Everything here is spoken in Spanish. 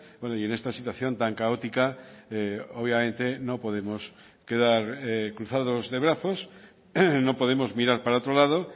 bueno y en esta situación tan caótica obviamente no podemos quedar cruzados de brazos no podemos mirar para otro lado